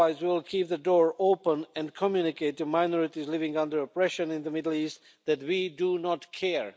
Otherwise, we will keep the door open and communicate to minorities living under oppression in the Middle East that we do not care.